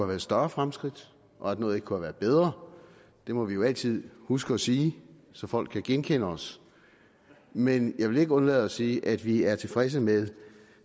været større fremskridt og at noget ikke kunne have været bedre det må vi jo altid huske at sige så folk kan genkende os men jeg vil ikke undlade at sige at vi er tilfredse med